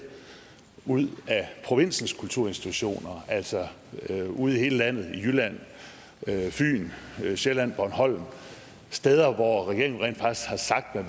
ud af provinsens kulturinstitutioner altså ude i hele landet jylland fyn sjælland bornholm steder hvor regeringen rent faktisk har sagt at